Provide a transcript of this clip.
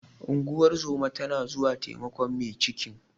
Unguwar zoma ta zo taimakon mai cikin.